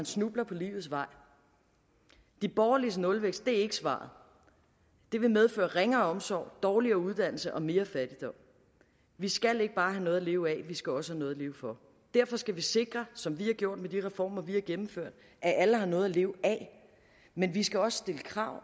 snubler på livets vej de borgerliges nulvækst er ikke svaret det vil medføre ringere omsorg dårligere uddannelse og mere fattigdom vi skal ikke bare have noget at leve af vi skal også have noget at leve for derfor skal vi sikre som vi har gjort med de reformer vi har gennemført at alle har noget at leve af men vi skal også stille krav